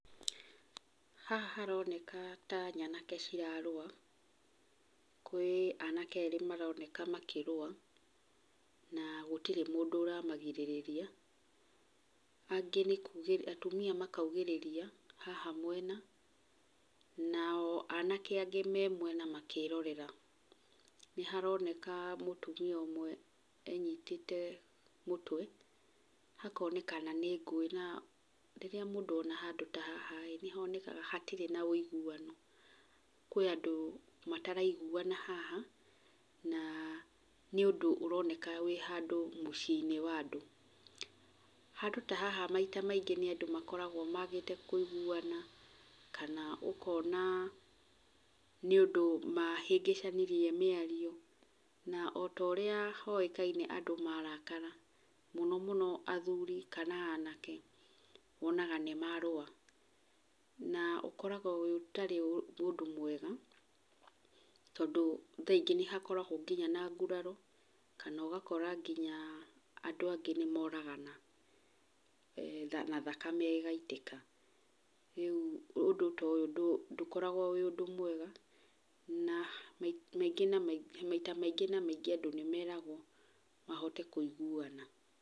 Haha haroneka ta nyanake cirarũa. Kwĩ anake erĩ maroneka makĩrũa, na gũtirĩ mũndũ ũramagirĩrĩria. Angĩ nĩkugĩrĩria, atumia makaugĩrĩria haha mwena nao anake angĩ me mwena makĩrorera. Nĩ haroneka mũtumia ũmwe enyitĩte mũtwe. Hakoneka nĩ ngũĩ, na rĩrĩa mũndũ ona handũ ta haha ĩĩ nĩ honekaga hatirĩ na ũiguano. Kwĩ andũ matariguana haha, na nĩ ũndũ ũroneka wĩ handũ mũciĩ-inĩ wa andũ. Handũ ta haha maita maingĩ nĩ andũ makoragwo maagĩte kũiguana kana ũkona nĩ ũndũ mahĩngĩcanirie mĩario. Na ota ũrĩa hoĩkaine andũ marakara, na mũno mũno athuri kana anake, wonaga nĩ marũa. Na ũkoragwo ũtarĩ ũndũ mwega, tondũ thaa ingĩ nĩ hakoragwo nginya na nguraro, kana ũgakora nginya andũ angĩ nĩ moragana na thakame ĩgaitĩka. Rĩu ũndũ ta ũyũ ndũkoragwo wĩ ũndũ mwega, na maita maingĩ na maingĩ andũ nĩ meragwo mahote kũiguana.